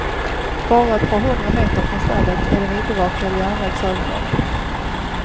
Bara ett par hundra meter från stallet är det en obevakad järnvägsövergång.